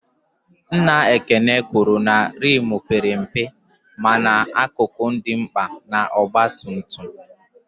Nna Ekene kwụrụ na rimu père mpe mana akụkụ dị mkpa na ọgba tum tum